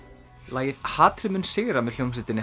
lagið hatrið mun sigra með hljómsveitinni